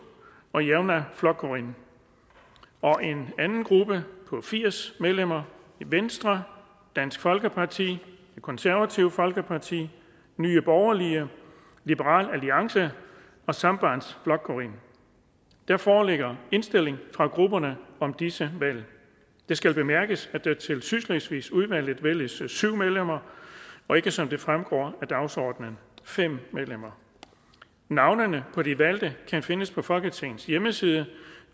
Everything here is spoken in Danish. og javnaðarflokkurin en gruppe på firs medlemmer venstre dansk folkeparti det konservative folkeparti nye borgerlige liberal alliance og sambandsflokkurin der foreligger indstilling fra grupperne om disse valg det skal bemærkes at der til sydslesvigudvalget vælges syv medlemmer og ikke som det fremgår af dagsordenen fem medlemmer navnene på de valgte kan findes på folketingets hjemmeside